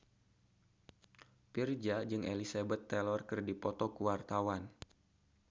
Virzha jeung Elizabeth Taylor keur dipoto ku wartawan